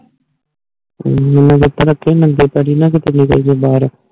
ਮੈਨੂੰ ਜਿਥੈ ਰਾਖੀ ਮੰਜ਼ਿਲ ਤਾੜੀ ਬਾਰ ਹੈ